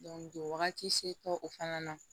wagati se kɛ o fana na